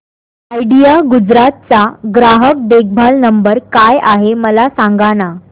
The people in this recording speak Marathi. आयडिया गुजरात चा ग्राहक देखभाल नंबर काय आहे मला सांगाना